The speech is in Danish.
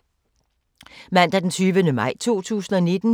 Mandag d. 20. maj 2019